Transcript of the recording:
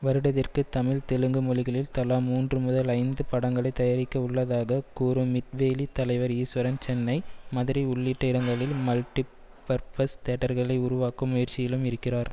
வருடதிற்கு தமிழ் தெலுங்கு மொழிகளில் தலா மூன்று முதல் ஐந்து படங்களை தயாரிக்க உள்ளதாக கூறும் மிட்வேலி தலைவர் ஈஸ்வரன் சென்னை மதுரை உள்ளிட்ட இடங்களில் மல்டி பர்பஸ் தியேட்டர்களை உருவாக்கும் முயற்சியிலும் இருக்கிறார்